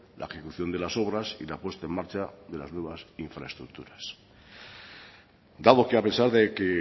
la ejecución de las obras y la puesta en marcha de las nuevas infraestructuras dado que a pesar de que